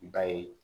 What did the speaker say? Ba ye